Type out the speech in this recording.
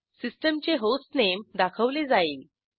सिस्टीमचे होस्टनेम दाखवले जाईल